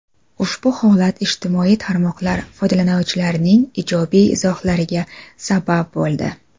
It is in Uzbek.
Ushbu holat ijtimoiy tarmoqlar foydalanuvchilarining ijobiy izohlariga sabab bo‘ldi.